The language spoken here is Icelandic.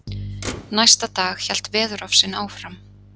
Næsta dag hélt veðurofsinn áfram.